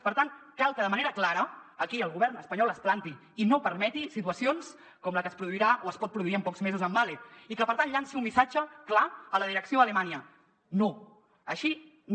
per tant cal que de manera clara aquí el govern espanyol es planti i no permeti situacions com la que es produirà o es pot produir en pocs mesos amb mahle i que per tant llanci un missatge clar a la direcció a alemanya no així no